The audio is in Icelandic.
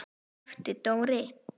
æpti Dóri.